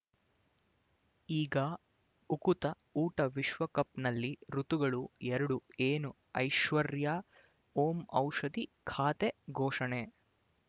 ಈಗ ಉಕುತ ಊಟ ವಿಶ್ವಕಪ್‌ನಲ್ಲಿ ಋತುಗಳು ಎರಡು ಏನು ಐಶ್ವರ್ಯಾ ಓಂ ಔಷಧಿ ಖಾತೆ ಘೋಷಣೆ